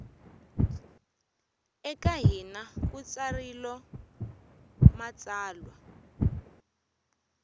eka hina ku tsarilo matsalwa